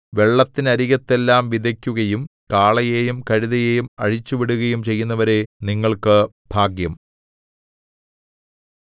വെള്ളത്തിനരികത്തെല്ലാം വിതയ്ക്കുകയും കാളയെയും കഴുതയെയും അഴിച്ചുവിടുകയും ചെയ്യുന്നവരേ നിങ്ങൾക്ക് ഭാഗ്യം